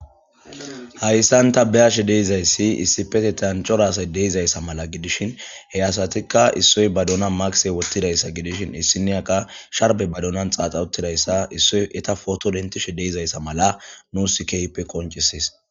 hayssan ta be'ashe de'izayssi issipete tan cora asay de'izayssa mala gidishin he asatikka issoy badona makise wottidayssa gidishin issiniyakka sharbe badonan xaaxawuttidayssa issoy eta foto dentishe de'izayssa mala nusi keehippe pe qoncises